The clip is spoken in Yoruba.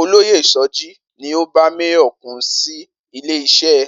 Olóyè So̩jí ni ó bá Máyò̩kún sí ilé is̩é̩